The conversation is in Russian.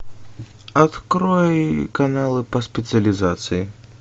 открой каналы по специализации